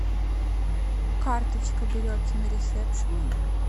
карточка берется на ресепшене